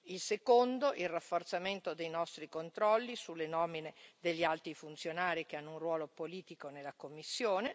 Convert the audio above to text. Il secondo il rafforzamento dei nostri controlli sulle nomine degli alti funzionari che hanno un ruolo politico nella Commissione.